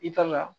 I kan ka